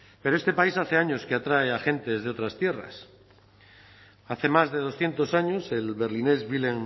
pero este país hace años que atrae a gentes desde otras tierras hace más de doscientos años el berlinés wilhelm